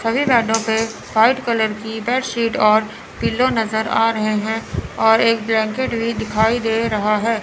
सभी बेडो पे व्हाइट कलर की बेड सीट और पिलो नज़र आ रहे हैं और एक ब्लैंकेट भी दिखाई दे रहा है।